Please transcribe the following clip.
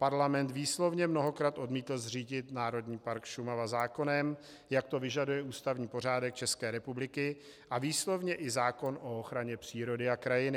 Parlament výslovně mnohokrát odmítl zřídit Národní park Šumava zákonem, jak to vyžaduje ústavní pořádek České republiky a výslovně i zákon o ochraně přírody a krajiny.